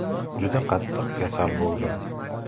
Juda qattiq kasal bo‘ldim.